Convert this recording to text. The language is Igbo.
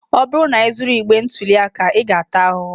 Ọ bụrụ na ị zuru igbe ntụli aka, ị ga-ata ahụhụ.